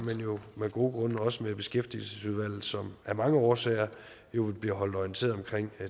men af gode grunde også med beskæftigelsesudvalget som af mange årsager jo vil blive holdt orienteret om